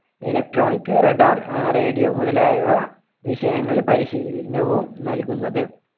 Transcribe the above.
electronic radar ah radio മുതലായവ വിഷയങ്ങളിൽ പരിശീലനവും നൽകുന്നത്.